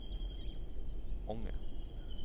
Ånge